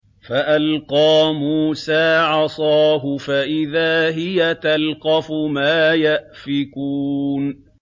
فَأَلْقَىٰ مُوسَىٰ عَصَاهُ فَإِذَا هِيَ تَلْقَفُ مَا يَأْفِكُونَ